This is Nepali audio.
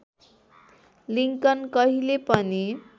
लिङ्कन कहिले पनि